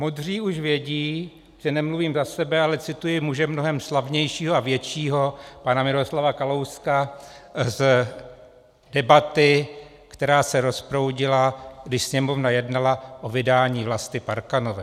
Modří už vědí, že nemluvím za sebe, ale cituji muže mnohem slavnějšího a většího - pana Miroslava Kalouska z debaty, která se rozproudila, když Sněmovna jednala o vydání Vlasty Parkanové.